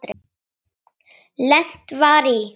Lent var í